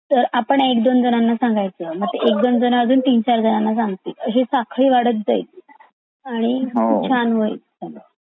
तर आपण एक दोन लोकांना सांगायचं मग ते एक दोन लोक अजून तीन चार जणांना संगतिल ही साखळी वाढत जाईल आणि खूप छान होईल.